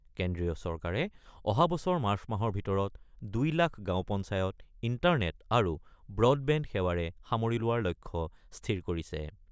কেন্দ্ৰীয় চৰকাৰে অহা বছৰ মাৰ্চ মাহৰ ভিতৰত ২ লাখ গাওঁ পঞ্চায়ত ইণ্টাৰনেট আৰু ব্ৰডবেণ্ড সেৱাৰে সামৰি লোৱাৰ লক্ষ্য স্থিৰ কৰিছে।